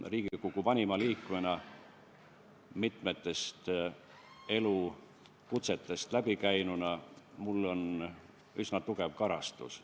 Riigikogu vanima liikmena, mitut elukutset pidanuna on mul üsna tugev karastus.